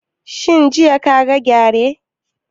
Shin jiya ka ga gyare?